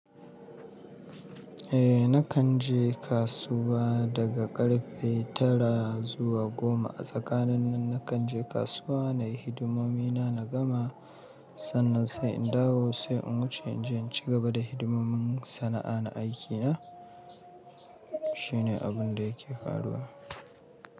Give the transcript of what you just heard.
Eh, nakan je kasuwa daga karfe tara zuwa goma. A tsakanin nan nakan je kasuwa na yi hidimomi na, na gama. Sannan sai in dawo, sai in wuce in je in ci gaba da hidimomin sana'a na aikina. Shine abun da yake faruwa.